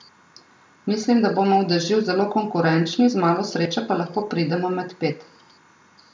Mislim, da bomo v dežju zelo konkurenčni, z malo sreče pa lahko pridemo med pet.